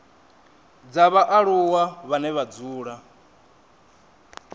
dza vhaaluwa vhane vha dzula